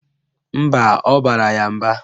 Mba, ọ bara ya mba.